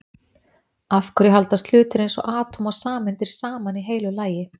af hverju haldast hlutir eins og atóm og sameindir saman í heilu lagi